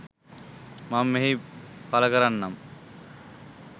මම මෙහි පලකරන්නම්.